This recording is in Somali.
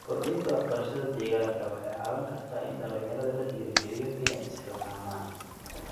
Kordhinta waxbarashada deegaanka waxay caawin kartaa in dhalinyarada la dhiirrigeliyo inay isxilqaamaan.